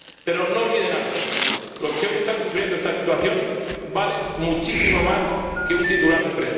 Pero no olviden algo los que hoy están sufriendo esta situación valen muchísimo más que un titular de